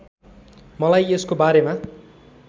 मलाई यसको बारेमा